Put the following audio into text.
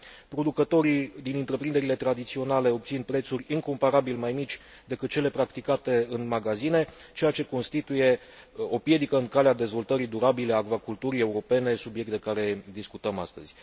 Producătorii din întreprinderile tradiționale obțin prețuri incomparabil mai mici decât cele practicate în magazine, ceea ce constituie o piedică în calea dezvoltării durabile a acvaculturii europene, subiect de care discutăm astăzi.